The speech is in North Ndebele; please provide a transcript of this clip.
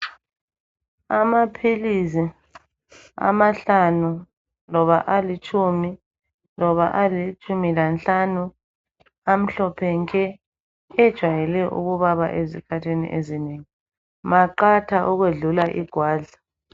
Amaphilisi amahlanu loba alitshumi loba alitshumi lanhlanu amhlophe nke ejwayele ukubaba ezikhathini ezinengi maqatha ukwedlula igwadla